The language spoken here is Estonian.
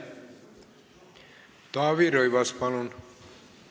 Taavi Rõivas, palun!